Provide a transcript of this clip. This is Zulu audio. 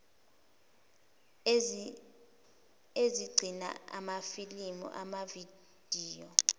ezigcina amafilimu amavidiyo